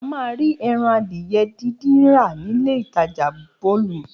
A máa rí ẹran adìyẹ dídì rà nílé ìtajà Bolum